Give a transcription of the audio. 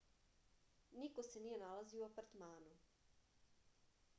niko se nije nalazio u apartmanu